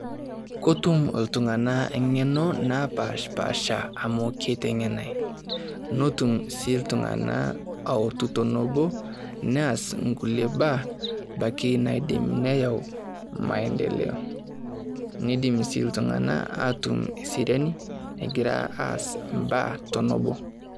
Kotum iltung'anak ng'eno naapaashipaasha amu kiteng'enae. Notum sii iltung'anak ootutum obo neas sii nkulie baa ibaiki neyau maendeleo. Nidim sii iltung'anak aatum seriani egira aas imbaa tenebo.